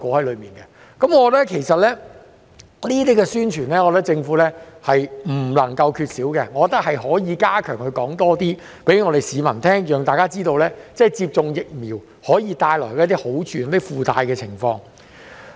其實，我覺得政府在這方面的宣傳是不能夠缺少的，政府可以加強向市民宣傳，讓大家知道接種疫苗可以帶來一些好處及附帶的情況。